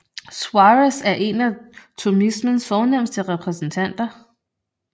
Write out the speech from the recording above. Suárez er en af thomismens fornemste repræsentanter